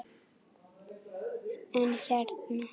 En hérna.